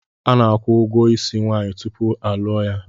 Ana-akwụ ụgwọ ísí nwaanyị tupu a lụọ ya.